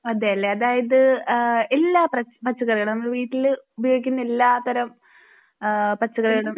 അതെ അല്ലെ അതായത് എല്ലാ പച്ചകറികളും നമ്മള് വീട്ടിൽ ഉപയോഗിക്കുന്ന എല്ലാത്തരം പച്ചക്കറികളും